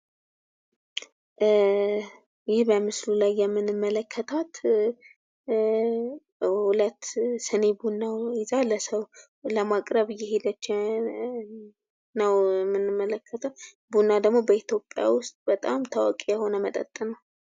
ይህ በምስሉ ላይ የምንመለከታት ሁለት ሲኒ ቡና ይዛ ለሰው ለማቅረብ እየሄደች ነው የምንመለከታት ቡና ደግሞ በኢትዮጵያ ውስጥ በጣም ታዋቂ የሆነ መጠጥ ነው።